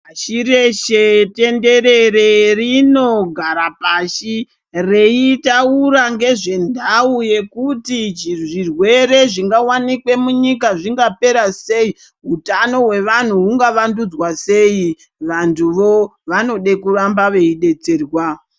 Pashi reshe, tenderere rinogara pashi, reitaura ngezvenhau yekuti chizvirwere zvingawanikwe munyika zvingapera sei, utano hwevanhu hungavandudzwa sei ,vantuvo vanoda kuramba veidetserwa.